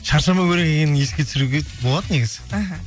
шаршамау керек екенін еске түсіруге болады негізі іхі